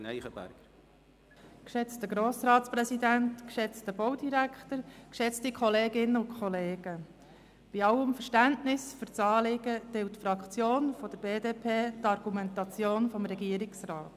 Bei allem Verständnis für dieses Anliegen teilt die BDPFraktion die Argumentation des Regierungsrats.